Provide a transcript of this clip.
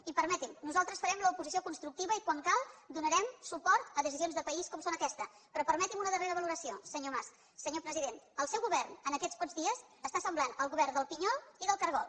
i permeti’m nosaltres farem l’oposició constructiva i quan calgui donarem suport a decisions de país com és aquesta però permeti’m una darrera valoració senyor mas senyor president el seu govern en aquests pocs dies està semblant el govern del pinyol i del cargol